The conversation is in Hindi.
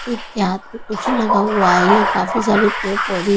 एक के हाथ में कुछ लगा हुआ है यहां काफी सारे पेड़ पौधे--